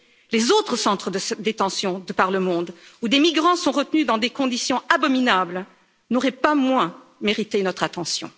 Les autres centres de détention de par le monde où des migrants sont retenus dans des conditions abominables n'auraient pas moins mérité notre attention.